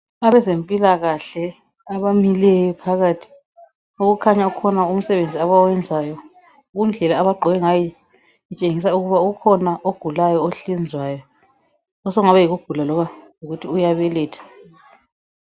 Abezempilakahle abamileyo phakathi okukhanya kukhona umsebenzi abawenzayo kundlela abagqoke ngayo okutshengisa ukuba ukhona ogulayo ohlinzwayo osokungaba yikugula loba yikuthi uyabeletha